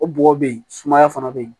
O bɔgɔ be yen sumaya fana be yen